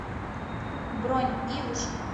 бронь ивушка